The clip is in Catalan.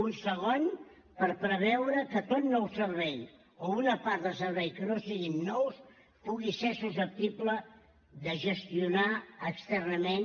un segon per preveure que tot nou servei o una part del servei que no siguin nous pugui ser susceptible de gestionar externament